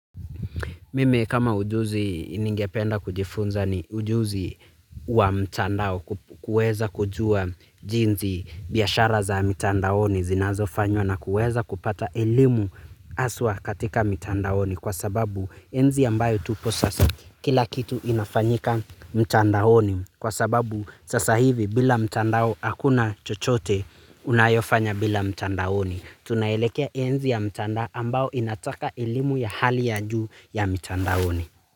Mimi kama ujuzi ningependa kujifunza ni ujuzi wa mtandao kuweza kujua jinzi biyashara za mitandaoni zinazo fanywa na kuweza kupata elimu aswa katika mitandao kwa sababu enzi ambayo tupo sasa kila kitu inafanyika mtandaoni kwa sababu sasa hivi bila mtandao hakuna chochote unayofanya bila mtandaoni. Tunaelekea enzi ya mtandao ambao inataka elimu ya hali ya juu ya mtandaoni.